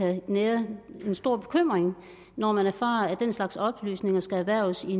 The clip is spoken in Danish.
kan nære en stor bekymring når man erfarer at den slags oplysninger skal erhverves i